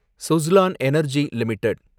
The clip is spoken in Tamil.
Suzlon energy limited